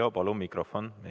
Heljo, palun mikrofon!